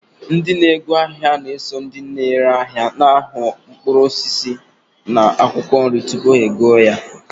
Ndị na-ego ahịa na-eso na ndị ere ahịa na-ahụ ọnụ mkpụrụ osisi na akwụkwọ nri tupu ha egoro.